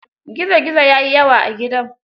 Gizo gizo ya yi yawa a gidan.